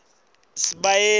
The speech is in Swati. sibayeni